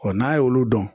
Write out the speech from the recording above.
n'a y'olu dɔn